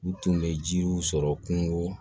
U tun bɛ jiriw sɔrɔ kungo